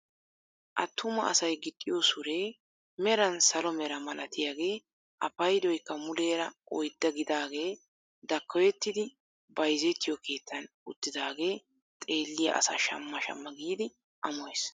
Attumassay gixxiyoo suree meran salo meraa malatiyaagee a paydoykka muleera oydda gidaagee dakkoyettidi bayzzetiyoo keettan uttidaagee xeelliyaa asaa shamma shamma giidi amoyees.